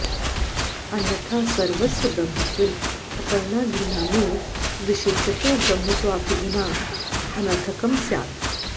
अन्यथा सर्वस्य ब्रह्मत्वे अर्पणादीनामेव विशेषतो ब्रह्मत्वाभिधानं अनर्थकं स्यात्